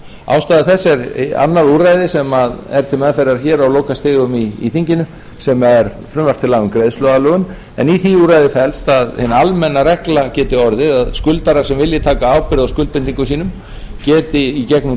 ástæða þess er annað úrræði sem er til meðferðar hér á lokastigum í þinginu sem er frumvarp til laga um greiðsluaðlögun en í því úrræði felst að hin almenna regla geti orðið að skuldarar sem vilji taka ábyrgð á skuldbindingum sínum geti í gegnum